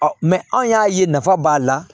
anw y'a ye nafa b'a la